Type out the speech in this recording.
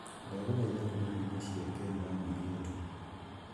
Ndaguthaitha hura nyĩmbo cia Ken wa Maria tu